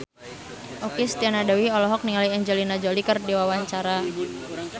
Okky Setiana Dewi olohok ningali Angelina Jolie keur diwawancara